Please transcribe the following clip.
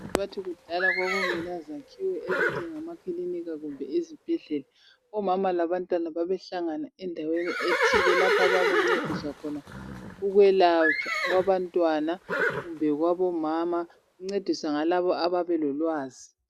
Bathi kudala kwakungelazakhiwo ezinjengamakiliniki kumbe izibhedlela. Omama labantwana babehlangana endaweni ethile lapho ababencediswa khona ukwelatshwa kwabantwana kumbe kwabomama kuncediswa ngalabo ababelolwazi.